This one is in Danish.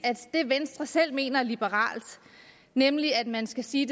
venstre selv mener er liberalt nemlig at man skal sige